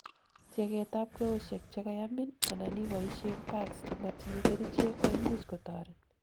tieget ab kweosiek chekayamin anan iboishen pads chemotinyei kerichek koimuch kotoret